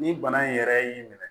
Ni bana in yɛrɛ y'i minɛ